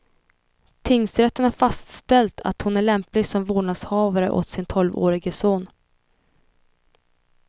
Tingsrätten har fastställt att hon är lämplig som vårdnadshavare åt sin tolvårige son.